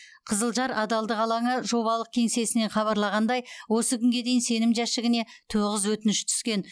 қызылжар адалдық алаңы жобалық кеңсесінен хабарлағандай осы күнге дейін сенім жәшігіне тоғыз өтініш түскен